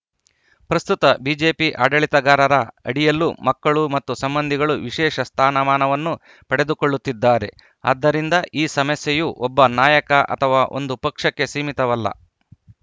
ಪ್ರಸ್ತುತ ಬಿಜೆಪಿ ಆಡಳಿತಗಾರರ ಅಡಿಯಲ್ಲೂ ಮಕ್ಕಳು ಮತ್ತು ಸಂಬಂಧಿಗಳು ವಿಶೇಷ ಸ್ಥಾನಮಾನವನ್ನು ಪಡೆದುಕೊಳ್ಳುತ್ತಿದ್ದಾರೆ ಆದ್ದರಿಂದ ಈ ಸಮಸ್ಯೆಯು ಒಬ್ಬ ನಾಯಕ ಅಥವಾ ಒಂದು ಪಕ್ಷಕ್ಕೆ ಸೀಮಿತವಲ್ಲ